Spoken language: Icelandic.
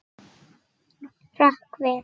Hrökk við.